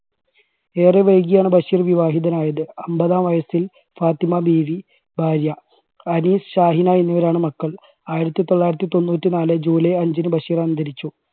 ഏറെ വൈകിയാണ് ബഷീർ വിവാഹിതനായത് അമ്പതാം വയസ്സിൽ ഫാത്തിമ ബീവി ഭാര്യ. ഹാരിസ്, ഷാഹിന എന്നിവരാണ് മക്കൾ ആയിരത്തി തൊള്ളായിരത്തി തൊണ്ണൂറ്റി നാല് july അഞ്ചിന് ബഷീർ അന്തരിച്ചു.